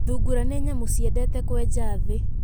Thungura nĩ nyamũ ciendete kwenja thĩĩ.